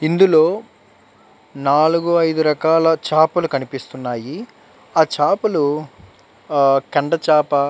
ఇందులో నాల్గు ఐదు రకాల చాపలు కనిపిస్తున్నాయి. ఆ చాపలు ఆహ్ కండ చాప --